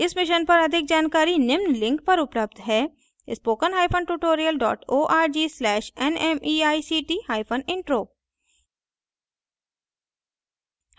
इस mission पर अधिक जानकारी निम्न लिंक पर उपलब्ध है